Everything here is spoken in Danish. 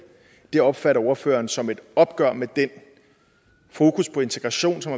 opfatter ordføreren som et opgør med den fokus på integration som